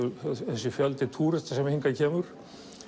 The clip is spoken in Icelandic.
þessi fjöldi túrista sem hingað kemur